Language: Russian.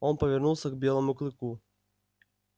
он повернулся к белому клыку